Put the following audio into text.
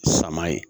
Sama ye